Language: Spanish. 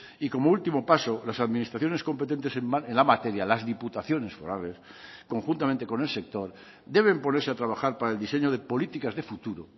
y como último paso las administraciones competentes en la materia las diputaciones forales conjuntamente con el sector deben ponerse a trabajar para el diseño de políticas de futuro